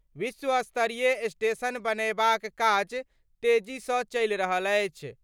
विश्वस्तरीय स्टेशन बनयबाक काज तेजीसँ चलि रहल अछि।